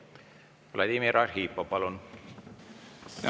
Vladimir Arhipov, palun!